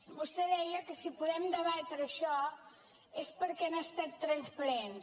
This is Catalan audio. vostè deia que si podem debatre això és perquè han estat transparents